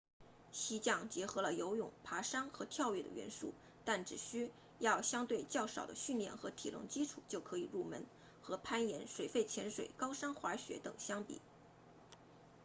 溪降结合了游泳爬山和跳跃的元素但只需要相对较少的训练和体能基础就可以入门和攀岩水肺潜水高山滑雪等相比